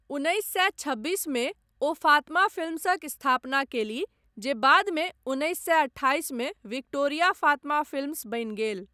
उन्नैस सए छब्बीस मे ओ फातमा फिल्म्सक स्थापना कयलीह जे बादमे उन्नैस सए अठाइस मे विक्टोरिया फातमा फिल्म्स बनि गेल।